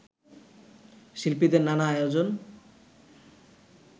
শিল্পীদের নানা আয়োজন